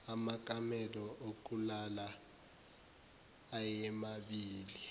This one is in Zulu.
amakamelo okulala ayemabili